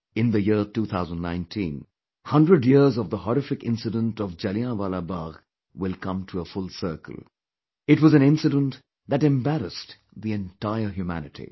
In the year 2019, 100 years of the horrific incident of Jallianwala Bagh will come to a full circle, it was an incident that embarrassed the entire humanity